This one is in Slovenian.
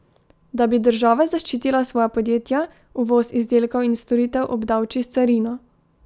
Da bi država zaščitila svoja podjetja, uvoz izdelkov in storitev obdavči s carino.